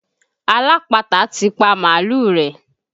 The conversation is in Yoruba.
Alápatà ti pa mààlúù rẹ̀.